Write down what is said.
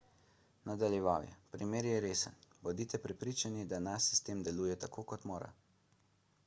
nadaljeval je primer je resen bodite prepričani da naš sistem deluje tako kot mora